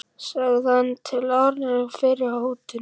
sagði hann til áréttingar fyrri hótun.